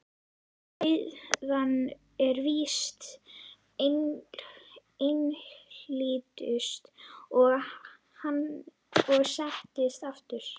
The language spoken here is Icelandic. En auðnan er víst einhlítust, sagði hann og settist aftur.